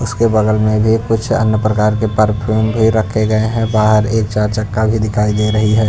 उसके बगल में भी कुछ अन्य प्रकार के परफ्यूम भी रखे गए हैं बाहर एक चार चक्का भी दिखाई दे रही है।